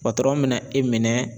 patɔrɔn me na e minɛ